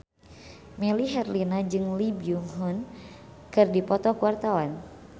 Melly Herlina jeung Lee Byung Hun keur dipoto ku wartawan